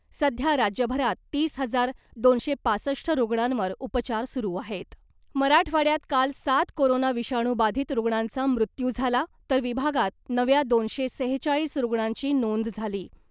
सध्या राज्यभरात तीस हजार दोनशे पासष्ट रुग्णांवर उपचार सुरु आहेत मराठवाड्यात काल सात कोरोना विषाणू बाधित रुग्णांचा मृत्यू झाला , तर विभागात नव्या दोनशे सेहेचाळीस रुग्णांची नोंद झाली .